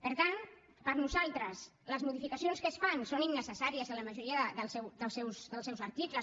per tant per nosaltres les modificacions que es fan són innecessàries en la majoria dels seus articles